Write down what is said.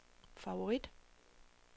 favorit